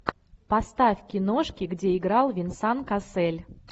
поставь киношки где играл венсан кассель